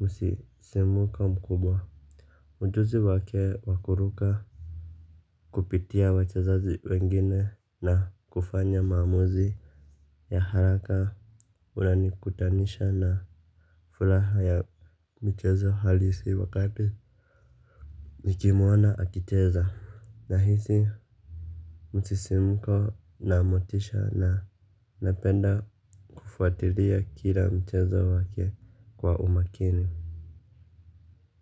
musisimuka mkubwa ujuzi wake wakuruka Kupitia wachezaji wengine na kufanya maamuzi ya haraka unanikutanisha na furaha ya mchezo halisi wakati nikimwona akicheza. Na hisi musisimuko na motisha na napenda kufuatilia kila mchezo wake kwa umakini.